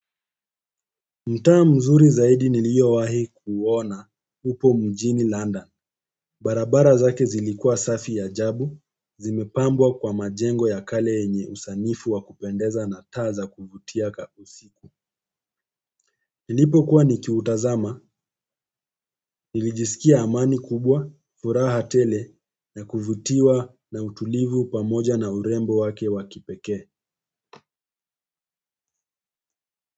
Mtaa mzuri zaidi niliyowai kuona upo mjini London. Barabara zake zilikua safi ya ajabu, zimepambwa kwa majengo ya kale yenye usanifu wa kupendeza na taa za kuvutia kak usiku. Nilipo kuwa nikiutazama, nilijisikia amani kubwa, furaha tele na kuvutiwa na utulivu pamoja na urembo wake wa kipekee.